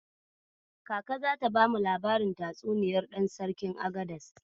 Kaka zata bamu labarin tatsuniyar Ɗan Sarkin Agadas.